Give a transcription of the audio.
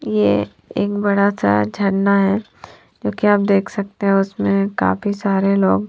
ये एक बड़ा सा झरना है जो की आप देख सकते है काफी सारे लोग--